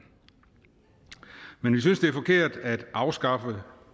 men vi synes det er forkert at afskaffe